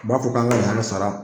b'a fɔ k'an ka yan sara.